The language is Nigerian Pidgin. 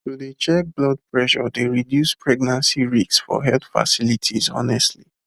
to dey check blood pressure dey reduce pregnancy risks for health facilities honestly